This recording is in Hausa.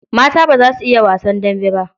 Mata ba za su iya wasan dambe ba.